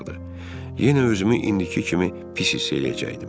Yenə özümü indiki kimi pis hiss eləyəcəkdim.